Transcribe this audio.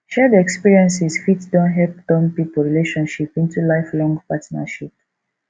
shared experiences fit don help turn pipo relationship into lifelong partnership